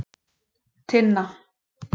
Tinna